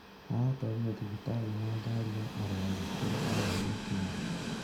Aratwarirwo thibitarĩ ya na gari ya arwaru kũrĩa arahurũkĩire.